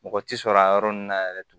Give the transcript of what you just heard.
Mɔgɔ tɛ sɔrɔ a yɔrɔ ninnu na yɛrɛ